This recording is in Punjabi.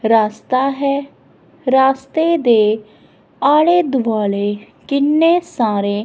ਰਾਸਤਾ ਹੈ ਰਾਸਤੇ ਦੇ ਆਲੇ ਦੁਆਲੇ ਕਿੰਨੇ ਸਾਰੇ